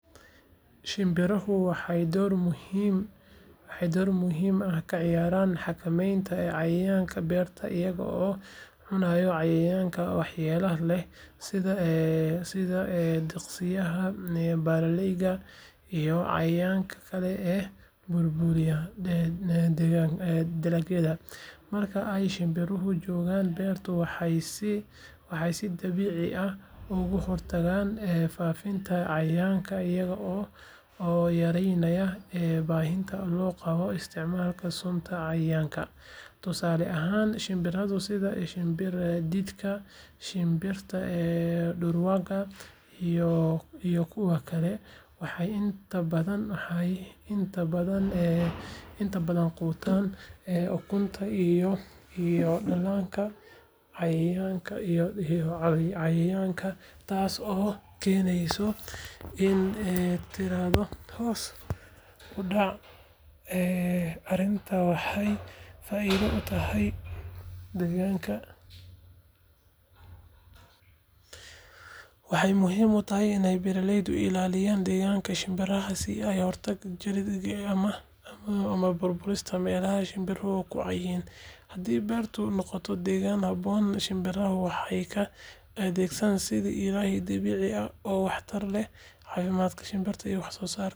Shinbirahu waxay door muhiim ah ka ciyaaraan xakamaynta cayayaanka beerta iyaga oo cuna cayayaanka waxyeellada leh sida diqsiyaasha, balalleyda, iyo cayayaanka kale ee burburiya dalagyada. Marka ay shinbiruhu joogaan beerta, waxay si dabiici ah uga hortagaan faafidda cayayaanka iyaga oo yareynaya baahida loo qabo isticmaalka sunta cayayaanka. Tusaale ahaan, shinbiraha sida shimbir-diidka, shinbirta dhurwaaga, iyo kuwa kale waxay inta badan quutaan ukunta iyo dhallaanka cayayaanka, taas oo keenaysa in tiradooda hoos u dhacdo. Arrintan waxay faa’iido u tahay deegaanka maadaama ay ilaalinayso dheelitirka dabiiciga ah waxayna ka hortagtaa waxyeellooyin ay keeni karaan kiimikooyin culus. Waxaa muhiim ah in beeraleydu ay ilaaliyaan degaanka shinbiraha oo ay ka hortagaan jaridda geedaha ama burburinta meelaha shinbiruhu ku caan yihiin. Haddii beertu noqoto deegaan ku habboon shinbiraha, waxay u adeegaan sidii ilaalin dabiici ah oo waxtar u leh caafimaadka dhirta iyo waxsoosaarka beerta.